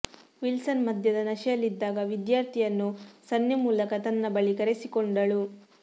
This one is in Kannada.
ವಿಲ್ಸನ್ ಮದ್ಯದ ನಶೆಯಲ್ಲಿದ್ದಾಗ ವಿದ್ಯಾರ್ಥಿಯನ್ನು ಸನ್ನೆ ಮೂಲಕ ತನ್ನ ಬಳಿ ಕರೆಸಿಕೊಂಡಳು